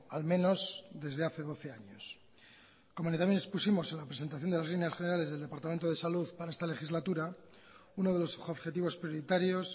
al menos desde hace doce años como también expusimos en la presentación de las líneas generales del departamento de salud para esta legislatura uno de los objetivos prioritarios